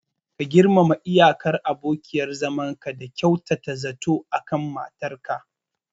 Ka girmama iyakar abokiyar zamanka da kyautata zato akan matar ka.